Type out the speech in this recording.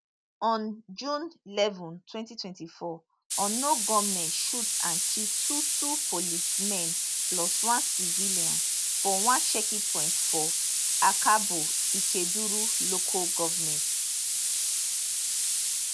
on june eleven twenty twenty four unknown gunmen shoot and kill two two policemen plus one civilian for one checking point for akabo ikeduru local goment